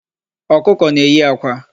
Ọkụkọ na-eyi akwa.